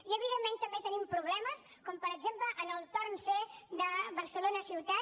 i evidentment també tenim problemes com per exemple en el torn c de barcelona ciutat